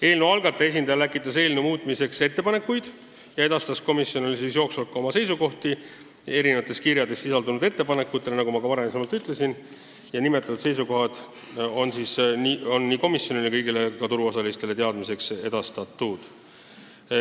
Eelnõu algataja esindaja läkitas eelnõu muutmiseks ettepanekuid ja edastas komisjonile jooksvalt ka oma seisukohti eri kirjades sisaldunud ettepanekute kohta ning nagu ma juba ütlesin, need seisukohad on nii komisjonile kui ka kõigile turuosalistele teada antud.